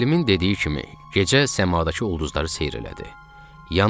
Müəllimin dediyi kimi, gecə səmadakı ulduzları seyr elədi.